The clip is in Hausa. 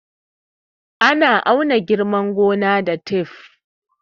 Ana auna girman gona da taf